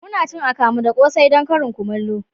Muna cin akamu da kose don karin kumallo